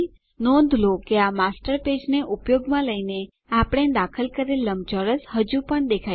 નોંધ લો કે માસ્ટર પેજને ઉપયોગમાં લઈને આપણે દાખલ કરેલ લંબચોરસ હજુ પણ દેખાય છે